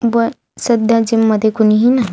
व सध्या जिम मध्ये कुणीही नाही.